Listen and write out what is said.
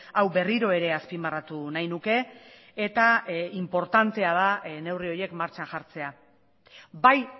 hau berriro ere azpimarratu nahi nuke eta inportantea da neurri horiek martxan jartzea bai